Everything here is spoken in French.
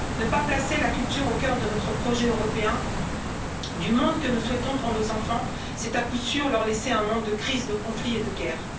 Ne pas placer la culture au cœur de notre projet européen du monde que nous souhaitons pour nos enfants, c'est à coup sûr leur laisser un monde de crises, de conflits et de guerres.